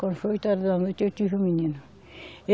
Quando foi oito horas da noite, eu tive um menino.